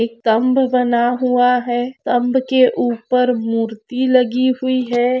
एक तम्ब बना हुआ है तम्ब के ऊपर मूर्ति लगी हुई है।